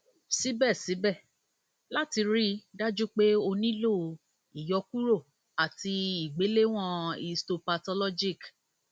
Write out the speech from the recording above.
síbẹsíbẹ láti rí i dájú pé ó nílò ìyọkuro àti ìgbéléwọn histopathologic